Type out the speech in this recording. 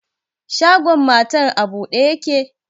Shagon matar a bude yake?